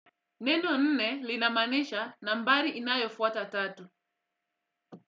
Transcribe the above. Neno nne linamaanisha nambari inayofuata tatu.